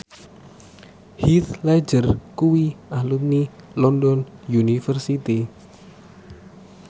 Heath Ledger kuwi alumni London University